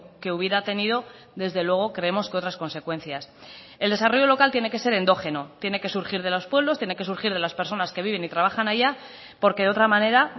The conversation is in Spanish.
que hubiera tenido desde luego creemos que otras consecuencias el desarrollo local tiene que ser endógeno tiene que surgir de los pueblos tiene que surgir de las personas que viven y trabajan allá porque de otra manera